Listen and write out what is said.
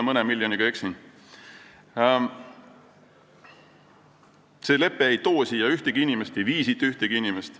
See lepe ei too siia ühtegi inimest ega vii siit ühtegi inimest.